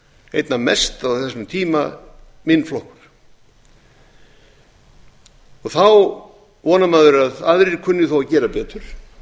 einna mest á þessum tíma minn flokkur þá vonar maður að aðrir kunni þá að gera betur